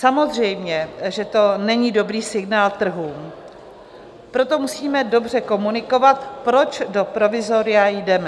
Samozřejmě že to není dobrý signál trhům, proto musíme dobře komunikovat, proč do provizoria jdeme.